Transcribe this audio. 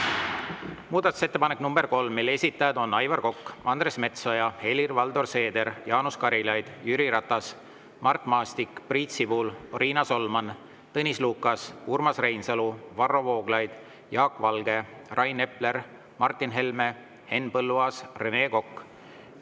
Muudatusettepanek nr 3, mille esitajad on Aivar Kokk, Andres Metsoja, Helir-Valdor Seeder, Jaanus Karilaid, Jüri Ratas, Mart Maastik, Priit Sibul, Riina Solman, Tõnis Lukas, Urmas Reinsalu, Varro Vooglaid, Jaak Valge, Rain Epler, Martin Helme, Henn Põlluaas ja Rene Kokk.